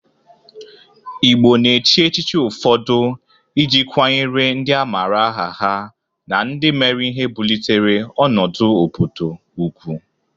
Igbo na-echi echichi ụfọdụ ị ji kwanyere ndị amara aha ha na ndị mere ihe bulitere ọnụdụ obodo ugwu.